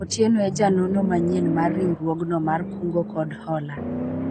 Otieno e janono manyien mar riwruogno mar kungo kod hola